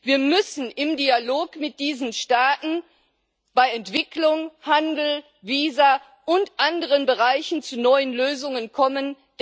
Wir müssen im Dialog mit diesen Staaten bei Entwicklung, Handel, Visa und anderen Bereichen zu neuen Lösungen kommen.